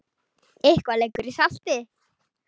Eitthvað liggur í salti